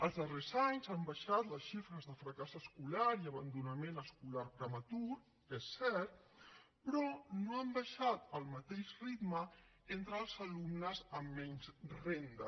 els darrers anys han baixat les xifres de fracàs escolar i abandonament escolar prematur és cert però no han baixat al mateix ritme entre els alumnes amb menys renda